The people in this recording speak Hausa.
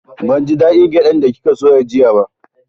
Ban ji da ɗin gyaɗan da kika soya jiya ba